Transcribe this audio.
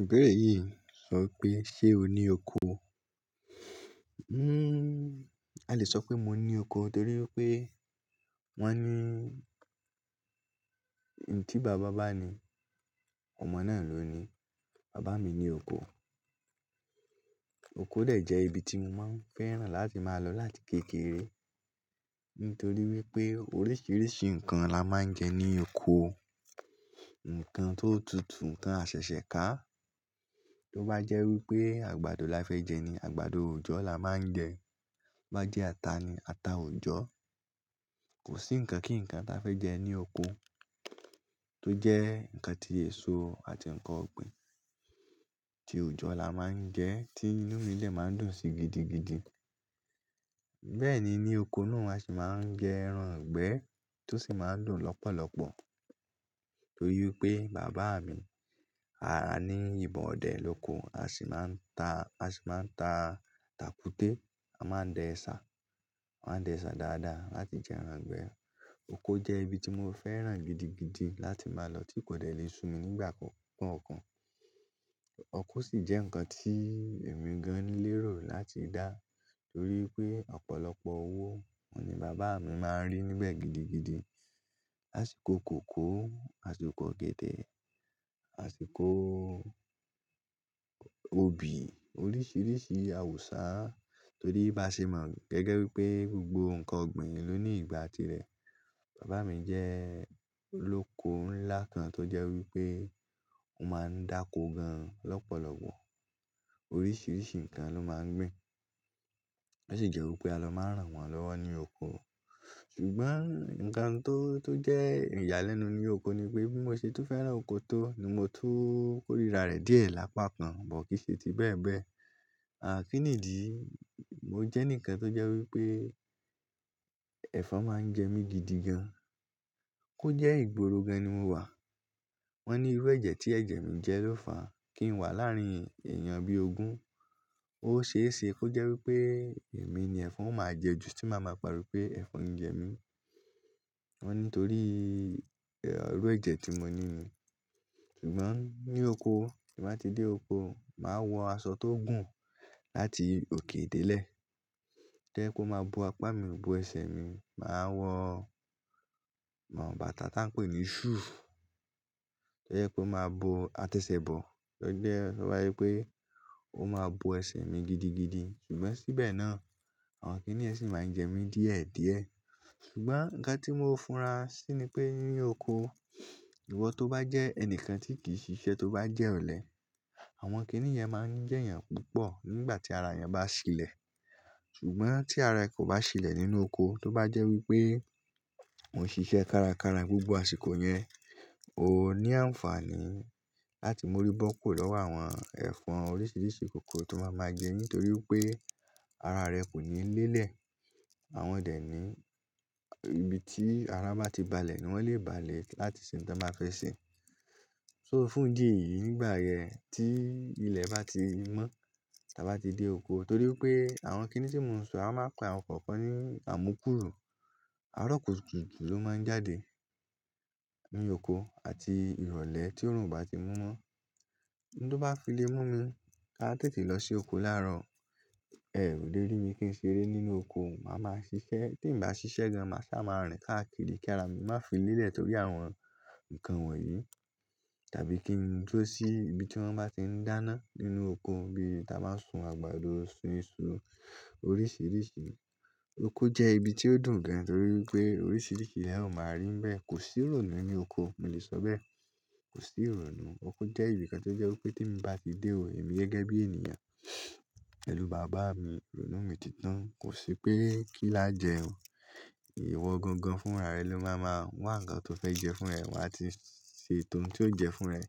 Ibeere yìí sọ pé ṣe o ní oko? Hmm, a lè sọ pé mo ní oko torí pé wọ́n ní ohun tí bàbá bá ní ọmọ náà ló ní. Bàbá mi ní oko. Oko lè jẹ́ ibi tí mo máa ń fẹ́ràn láti máa lọ láti kékeré nítorí wípé oríṣiríṣi nǹkan la máa ń jẹ ní oko. Ǹǹkan tó tutù nkan aṣẹ̀ṣẹ̀ ká. Tó bá jẹ́ wípé àgbàdo la fẹ́ jẹ ni àgbàdo òòjọ́ la máa ń jẹ. Bá jẹ́ ata ni, ata òòjọ́. Kò sí ǹkan kí ǹkan ta fẹ́ jẹ ní oko tó jẹ́ ǹkan tí èso àti ǹkan ọ̀gbìn tí òòjọ́ la máa ń jẹ́ tí inú ilẹ̀ máa ń dùn sí gidigidi. Bẹ́ẹ̀ ni ní oko náà a sì máa ń jẹ ẹran ìgbẹ́ tó sì máa ń dùn lọ́pọ̀lọ́pọ̀ torí pé bàbá mi a ní ìbọn ọ̀dẹ̀ lóko, a sì máa ń ta, a sì máa ń ta tackute, a máa ń dẹ ẹṣà, a máa ń dẹ ẹṣà dáadáa láti jẹ ẹran ìgbẹ́. Oko jẹ́ ibi tí mo fẹ́ràn gidigidi láti máa lọ tí kò dẹ́ lè sun mí nígbà kankan. Oko sì jẹ́ ǹkan tí èmi gan lérò láti dá torí pé ọ̀pọ̀lọpọ̀ owó ni bàbá mi máa ń rí níbẹ̀ gidigidi. Àṣìkò kòkó, àsìkò ọ̀gẹ̀dẹ̀, àsìkò òbí, oríṣiríṣi àwùsá torí bá ṣe mọ̀ gẹ́gẹ́ wípé gbogbo ǹkan ọ̀gbìn ló ní ìgbà ti rẹ̀. Bàbá mi jẹ́ olóko ńlá kan tó jẹ́ wípé ó máa ń dáko gan lọ́pọ̀lọpọ̀. Oríṣiríṣi ǹkan ló máa ń gbìn. Ó sì jẹ́ wípé a lọ máa rán wọn lọ́wọ́ ní oko. Ṣùgbọ́n ǹkan tó, tó jẹ́ ìyàlẹ́nu ni oko ni pé bí mo ṣe tú fẹ́ràn oko tó ni mo tú kórìíra rẹ̀ díẹ̀ lápákan, bọ̀kìṣe ti bẹ́ẹ̀ bẹ́ẹ̀. À kínìdí, mo jẹ́ ǹkan tó jẹ́ wípé ẹ̀fọn máa ń jẹ mi gidigan. Ko jẹ́ ìgboro gan ni mo wà. Wọ́n ní irú ẹ̀jẹ̀ tí ẹ̀jẹ̀ mi jẹ́ ló fàá kí n wà láàrín èèyàn bí ogún. Ó ṣeéṣe kó jẹ́ wípé èmi ni ẹ̀fọn máa jẹ jù tí màá máa pari pé ẹ̀fọn ń jẹ mí. Wọ́n ní torí irú ẹ̀jẹ̀ tí mo ní. Ṣùgbọ́n ní oko, tí mo bá ti dé oko, màá wọ aṣọ tó gùn láti òkè dé lẹ̀. Jẹ́ kó máa bo apá mi, bo ẹsẹ̀ mi. Màá wọ bàtà tá ń pè ní shoe. Ó yẹ kó máa bo àtẹ́sẹ̀ bọ̀. Ó jẹ́, ó máa wípé ó máa bo ẹsẹ̀ mi gidigidi. Ṣùgbọ́n síbẹ̀ náà àwọn kìní ẹ̀sìn máa ń jẹ mí díẹ̀díẹ̀. Ṣùgbọ́n ǹkan tí mo funra sí ni pé ní oko, ìwọ tó bá jẹ́ ẹni kan tí kì í ṣiṣẹ́ tó bá jẹ́ ọ̀lẹ, àwọn kìníyẹn máa ń jẹ́ ẹ́ púpọ̀ nígbà tí ara yẹn bá ṣilẹ̀. Ṣùgbọ́n tí ara ẹ kò bá ṣilẹ̀ nínú oko, tó bá jẹ́ wípé o ṣiṣẹ́ kárakára gbogbo àsìkò yẹn, o ní àǹfààní láti mú rí bọ́kọ̀ lọ́wọ́ àwọn ẹfọn oríṣiríṣi kòkò tó máa ma jẹ ẹ́ nítorí pé ara rẹ kò ní lélẹ̀. Àwọn dẹ̀ ní ibi tí ara má ti balẹ̀ ni wọ́n lè balẹ̀ láti ṣe ǹkan tí wọ́n fẹ́ ṣe. So fún ìdí yìí nígbà yẹn tí ilẹ̀ bá ti mọ́, tí a bá ti dé oko torí pé àwọn kìní tí mo ń sọ, a máa pa àwọn kọ̀ọ̀kan ní amukuru. Arọ̀ kùtùù kutuu ló máa ń jáde nínú oko àti ìrọ̀lẹ́ tí oòrùn bá ti mú mọ́. Ohun tó bá fi le mú mi ká tètè lọ sí oko láàárọ̀, ẹ lé ri mi kí n ṣeré nínú oko, màá ma ṣiṣẹ́. Tí n bá ṣiṣẹ́ gan, màá sá máa rìn káàkiri kí ara mi má fí lélẹ̀ torí àwọn ǹkan wọ̀nyí. Tàbí kí n duro sí ibi tí wọ́n bá ti ń dáná nínú oko bí a bá ti máa sun àgbàdo, sun iṣu oríṣiríṣi. Oko jẹ́ ibi tí ó dùn gan torí wípé oríṣiríṣi ni ẹ máa rí níbẹ̀. Kò sí ìrònú ní oko. Mo lè sọ bẹ́ẹ̀. Kò sí ìrònú. Oko jẹ́ ibi kan tó jẹ́ wípé tí mo bá ti dé o, èmi gẹ́gẹ́ bí ènìyàn pẹlù bàbá mi, ìrònú mi títán. Kò sí pé kí n lájẹ̀ẹ́ o. Ìwọ gangan fún ara rẹ ló máa ma wá ǹkan tó fẹ́ jẹ fún ẹ àti ṣe ètò ohun tí ó jẹ fún ẹ.